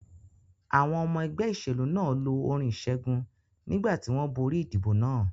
Àwọn ọmọ ẹgbẹ́ ìṣèlú náà lọ orin ìṣẹ́gun nígbà tí wọ́n borí ìdìbò náà.